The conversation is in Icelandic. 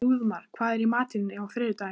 Þrúðmar, hvað er í matinn á þriðjudaginn?